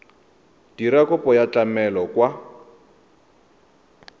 dira kopo ya tlamelo kwa